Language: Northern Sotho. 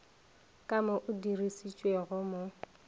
ka mo o dirišitšwego mo